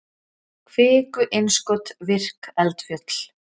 kviku-innskot virk eldfjöll